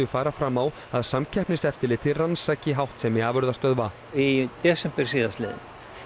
fara fram á að Samkeppniseftirlitið rannsaki háttsemi afurðastöðva í desember síðastliðnum